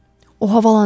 O havalanıb.